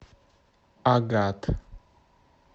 агат